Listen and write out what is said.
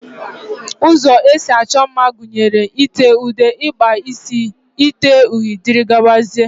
Ụzọ esi achọ mma gụnyere: ite ude, ịkpa isi, ite uri wdg.